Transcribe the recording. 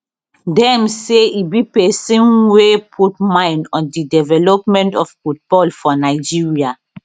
dem say e be pesin wey put mind on di development of football for nigeria